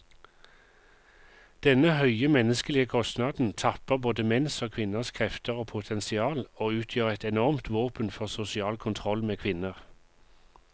Denne høye menneskelige kostnaden tapper både menns og kvinners krefter og potensial, og utgjør et enormt våpen for sosial kontroll med kvinner.